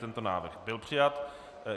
Tento návrh byl přijat.